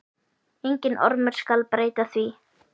Enginn ormur skal breyta því.